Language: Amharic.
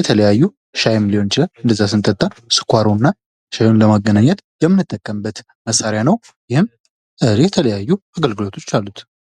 የተለያዩ ሻይም ሊሆን ይችላል ስንጠጣ ስኳሩንና ሻዩን ለማገናኘት የምንጠቀምበት መሳሪያ ነው:: ይህም የተለያዩ አገልግሎቶች አሉት::